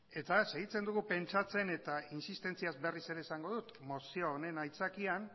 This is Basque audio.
eta segitzen dugu pentsatzen eta insistentziaz berriz ere esango dut mozio honen aitzakian